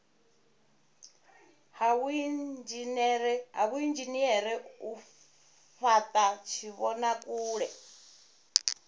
ha vhuinzhinere u fhata tshivhonakule